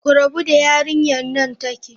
Ku rabu da yarinyar nan take!